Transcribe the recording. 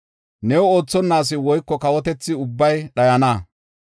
New oothonna asi woyko kawotethi ubbay dhayana.